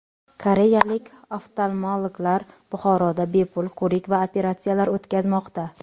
Koreyalik oftalmologlar Buxoroda bepul ko‘rik va operatsiyalar o‘tkazmoqda.